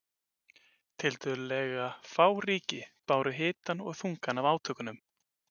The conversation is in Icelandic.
Tiltölulega fá ríki báru hitann og þungann af átökunum.